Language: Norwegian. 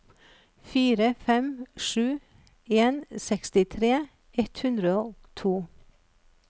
fire fem sju en sekstitre ett hundre og to